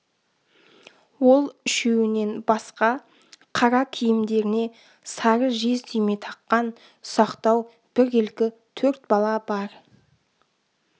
ол үшеуінен басқа қара киімдеріне сары жез түйме таққан ұсақтау біркелкі төрт бала бар